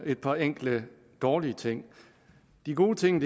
et par enkelte dårlige ting de gode ting